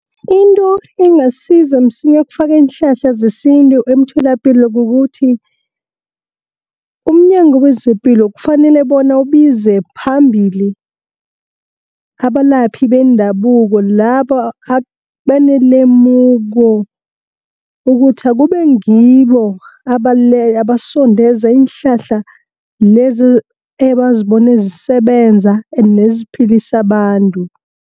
Into engasiza msinya ukufaka iinhlahla zesintu emtholapilo kukuthi, umNyango kwezePilo kufanele bona ubize phambili abalaphi bendabuko laba abanelemuko, ukuthi akube ngibo abasondeza iinhlahla lezo ebazibone zisebenza neziphilisa abantu.